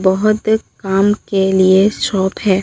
बहोत काम के लिए शॉप है।